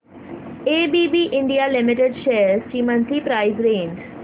ABB India limited shares ची monthly price range